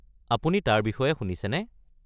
আপুনি তাৰ বিষয়ে শুনিছেনে?